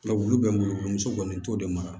Nka wulu bɛ n bolo muso kɔni n t'o de mara